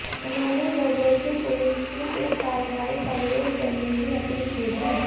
उन्होंने लोगों से पुलिस की इस कार्रवाई का विरोध करने की अपील की थी